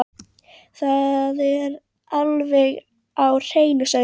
Það er alveg á hreinu, segja þau.